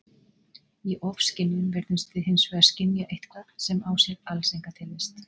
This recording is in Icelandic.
Í ofskynjun virðumst við hins vegar skynja eitthvað sem á sér alls enga tilvist.